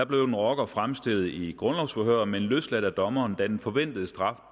blev en rocker fremstillet i et grundlovsforhør men løsladt af dommeren da den forventede straf